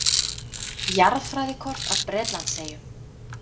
Jarðfræðikort af Bretlandseyjum.